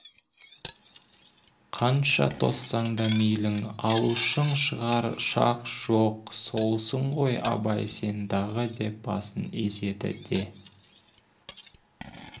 қанша тоссаң да мейлің алушың шығар шақ жоқ солсың ғой абай сендағы деп басын изеді де